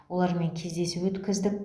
олармен кездесу өткіздік